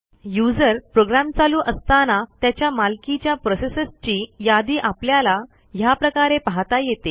user program चालू असताना त्याच्या मालकीच्या प्रोसेसेसची यादी आपल्याला ह्याप्रकारे पाहता येते